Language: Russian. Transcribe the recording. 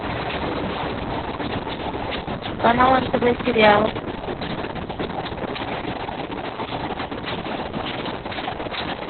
канал нтв сериал